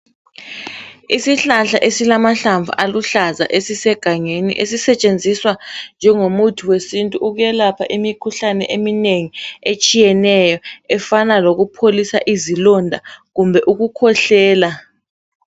Isihlahla esilamahlamvu aluhlaza esisegangeni esisetshenziswa njegomuthi wesintu ukwelapha imikhuhlane eminengi etshiyeneyo efana lokupholisa izilonda kumbe ukukhwehlela.